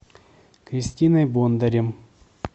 кристиной бондарем